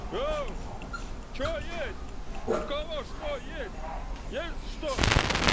оу что есть у кого что есть есть что